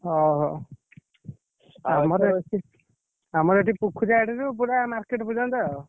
ହଉ ହଉ ଆମର ଏଠି ପୂଖୁରିଆଡି ରୁ ପୁରା market ପର୍ଯ୍ୟନ୍ତ ଆଉ।